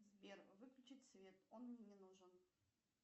сбер выключить свет он мне не нужен